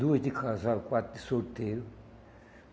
Duas de casal, quatro de solteiro.